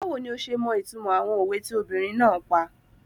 Báwo ni ọ ṣe mọ ìtumọ̀ àwọn òwe tí obìnrin náà pa?